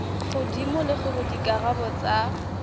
godimo le gore dikarabo tsa